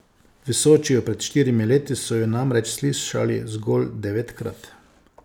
V Sočiju pred štirimi leti so jo namreč slišali zgolj devetkrat.